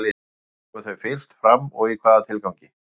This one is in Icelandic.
Hvenær komu þau fyrst fram og í hvaða tilgangi?